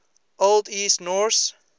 old east norse